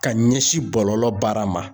Ka ɲɛsin bɔlɔlɔ baara ma